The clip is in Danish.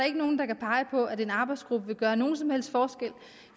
ikke nogen der kan pege på at en arbejdsgruppe vil gøre nogen som helst forskel